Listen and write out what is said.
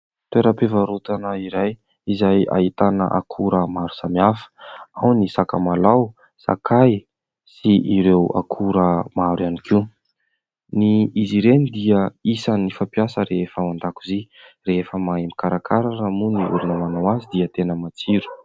Toera-pivarotana iray izay ahitana akora maro samy hafa ao ny sakamalaho, sakay sy ireo akora maro ihany koa, izy ireny dia isany fampiasa rehefa ao an-dakozia rehefa mahay mikarakara ary moa ny olona manao azy dia tena matsiro.